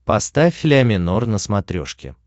поставь ля минор на смотрешке